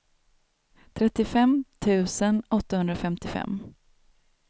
trettiofem tusen åttahundrafemtiofem